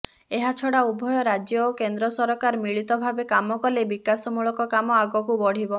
ଏହାଛଡା ଉଭୟ ରାଜ୍ୟ ଓ କେନ୍ଦ୍ର ସରକାର ମିଳିତ ଭାବେ କାମ କଲେ ବିକାଶମୂଳକ କାମ ଆଗକୁ ବଢିବ